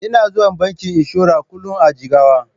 Ina zuwa bankin inshora kullun a Jigawa.